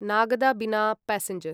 Nagda Bina passenger